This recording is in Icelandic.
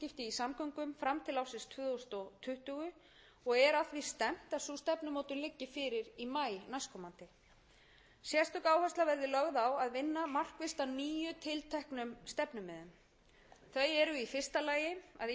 samgöngum fram til ársins tvö þúsund tuttugu og er að ári stefnt að sú stefnumótun liggi fyrir í maí næstkomandi sérstök áhersla verði lögð á að vinna markvisst að nýjum tilteknum stefnumiðum þau